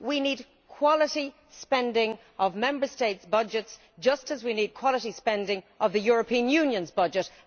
We need quality spending of Member States' budgets, just as we need quality spending of the European Union's budget.